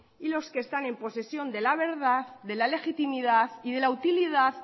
y los que están en posesión de la verdad de la legitimidad y de la utilidad